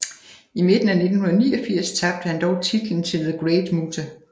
I midten af 1989 tabte han dog titlen til The Great Muta